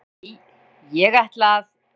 """Nei, ég ætla að."""